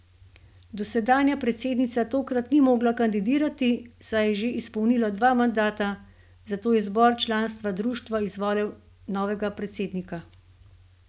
Dosedanja predsednica tokrat ni mogla kandidirati, saj je že izpolnila dva mandata, zato je zbor članstva društva izvolil novega predsednika.